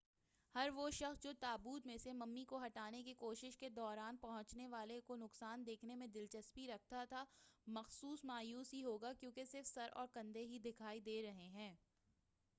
ہر وہ شخص جو تابوت میں سے ممی کو ہٹانے کی کوششوں کے دوران پہنچنے والے نقصان کو دیکھنے میں دلچسپی رکھتا تھا محض مایوس ہی ہو گا کیونکہ صرف سر اور کندھے ہی دکھائی دے رہے ہیں